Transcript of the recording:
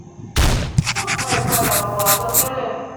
o o gba ipadabọ asọtẹlẹ.